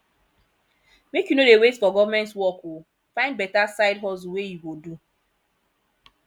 make you no dey wait for government work o find beta side hustle wey you go do